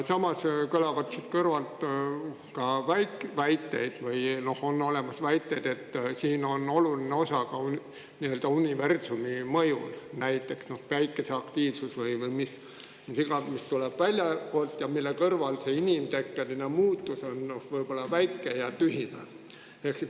Samas on siin kõlanud väiteid, et on oluline osa ka universumi mõjul – näiteks Päikese aktiivsusel – või millel iganes, mis tuleb väljastpoolt ja mille kõrval on see inimtekkeline muutus väike ja tühine.